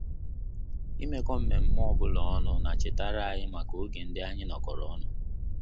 Imekọ mmemme obula ọnụ na chetara anyị maka oge ndị anyị nọkọrọ ọnụ